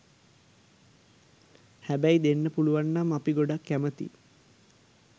හැබැයි දෙන්න පුළුවන්නම් අපි ගොඩක් කැමතියි.